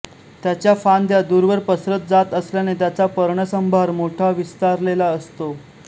त्याच्या फांद्या दूरवर पसरत जात असल्याने त्याचा पर्णसंभार मोठा विस्तारलेला असतो